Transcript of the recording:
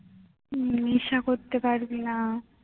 উম নেশা করতে পারবি না